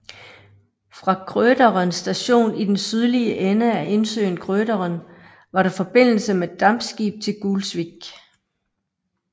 Fra Krøderen Station i den sydlige ende af indsøen Krøderen var der forbindelse med dampskib til Gulsvik